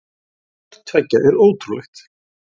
Hvort tveggja er ótrúlegt.